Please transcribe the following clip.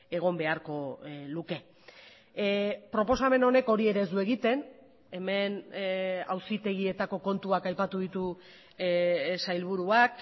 egon beharko luke proposamen honek hori ere ez du egiten hemen auzitegietako kontuak aipatu ditu sailburuak